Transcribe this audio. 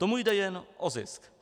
Tomu jde jen o zisk.